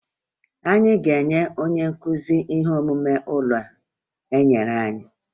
Anyị ga-enye onye nkụzi ihe omume ụlọ enyere anyị